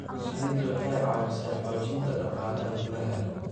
Shinnidu waxay caawisaa xoojinta dhaqaalaha gudaha.